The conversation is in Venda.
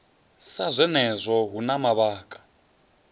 sa zwenezwo hu na mavhaka